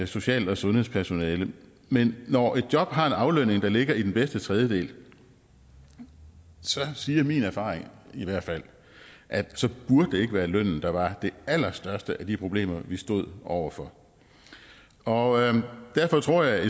social og sundhedspersonale men når et job har en aflønning der ligger i den bedste tredjedel så siger min erfaring i hvert fald at så burde det ikke være lønnen der var det allerstørste af de problemer vi står over for og derfor tror jeg at